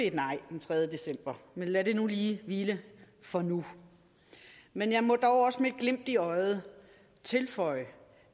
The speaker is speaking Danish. et nej den tredje december men lad det nu lige hvile for nu men jeg må dog også med et glimt i øjet tilføje